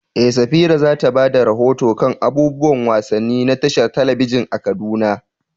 Eh, Safira za ta ba da rahoto kan abubuwan wasanni na tashar talabijin a Kaduna.